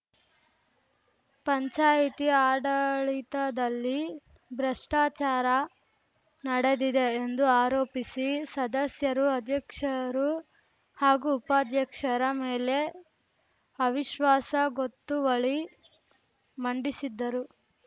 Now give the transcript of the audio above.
ಪಂಚಾಯಿತಿ ಆಡಳಿತದಲ್ಲಿ ಭ್ರಷ್ಟಾಚಾರ ನಡೆದಿದೆ ಎಂದು ಆರೋಪಿಸಿ ಸದಸ್ಯರು ಅಧ್ಯಕ್ಷರು ಹಾಗೂ ಉಪಾಧ್ಯಕ್ಷರ ಮೇಲೆ ಅವಿಶ್ವಾಸ ಗೊತ್ತುವಳಿ ಮಂಡಿಸಿದ್ದರು